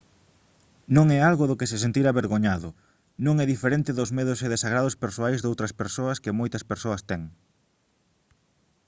non é algo do que se sentir avergoñado non é diferente dos medos e desagrados persoais doutras cousas que moitas persoas teñen